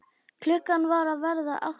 Klukkan var að verða átta.